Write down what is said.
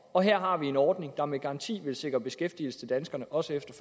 og her har vi en ordning der med garanti vil sikre beskæftigelse til danskerne også efter